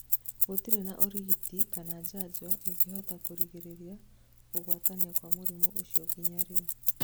Gũtire na ũrigiti kana njanjo ĩngĩhota kũrigĩrĩria kũgwatania kwa mũrimũ ũcio nginya rĩu